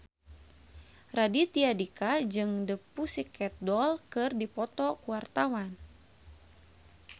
Raditya Dika jeung The Pussycat Dolls keur dipoto ku wartawan